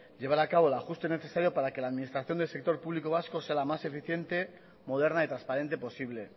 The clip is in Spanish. llevar a cabo el ajuste necesario para que la administración del sector público vasco sea la más eficiente moderna y transparente posible